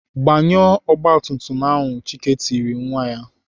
Gbanyụọ ọgbatumtum ahu!" Chike tiri nwa ya.